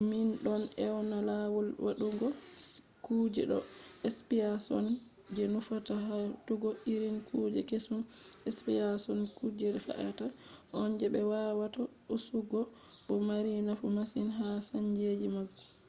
min don ewna lawol waɗugo kuje ɗo speciason je nufata hautugo irin kuje keesum. speciashon kuje fe’ata on je be wawata hisugo bo mari nafu masin ha saanji mangu